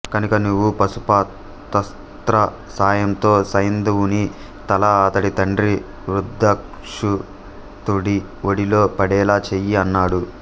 కనుక నీవు పాశుపతాస్త్ర సాయంతో సైంధవుని తల అతడి తండ్రి వృద్ధక్షతుడి ఒడిలో పడేలా చేయి అన్నాడు